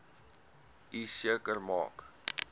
u seker maak